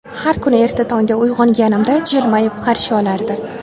Har kuni erta tongda uyg‘onganimda jilmayib, qarshi olardi.